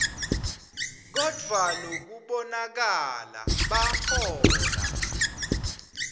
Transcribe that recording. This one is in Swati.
kodvwa lokubonakala bahola